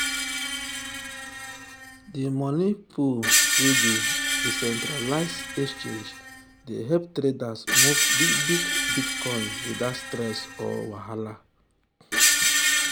the money pool wey dey decentralized exchange dey help traders move big big bitcoin without stress or wahala.